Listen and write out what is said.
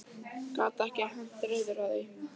Gat ekki hent reiður á því.